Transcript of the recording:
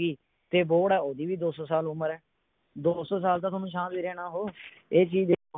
ਤੇ ਬੋਹੜ ਆ ਉਹਦੀ ਵੀ ਦੋ ਸੋ ਸਾਲ ਉਮਰ ਆ, ਦੋ ਸੋ ਸਾਲ ਤਾਂ ਥੋਨੂੰ ਛਾਂ ਦੇ ਰਿਹਾ ਨਾ ਓਹੋ ਇਹ ਚੀਜ